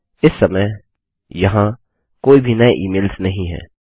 इस समय यहाँ कोई भी नये इमेल्स नहीं है